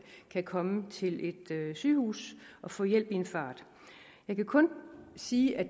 kan komme til et sygehus og få hjælp i en fart jeg kan kun sige at